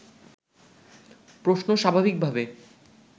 প্রশ্ন স্বাভাবিকভাবে